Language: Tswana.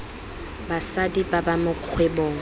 basadi ba ba mo kgwebong